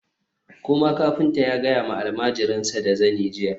koma! kafinta ya gaya ma almajirinsa da zani jiya